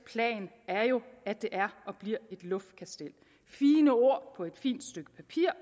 plan er jo at det er og bliver et luftkastel fine ord på et fint stykke papir